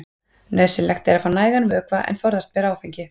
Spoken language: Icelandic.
nauðsynlegt er að fá nægan vökva en forðast ber áfengi